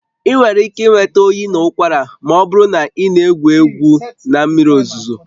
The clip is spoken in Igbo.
Ị nwere ike ịnwe oyi na ụkwara ma ọ bụrụ na ị na-egwu egwu na mmiri ozuzo